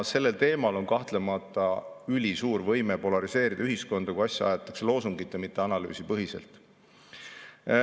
Sellel teemal on kahtlemata ülisuur võime polariseerida ühiskonda, kui asja aetakse loosungite, mitte analüüside põhiselt.